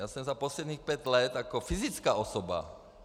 Já jsem za posledních pět let jako fyzická osoba...